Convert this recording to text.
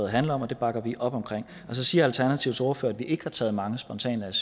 handler om og det bakker vi op om så siger alternativets ordfører at vi ikke har taget mange spontane